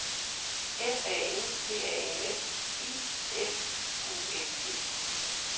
F A N T A S I F U L D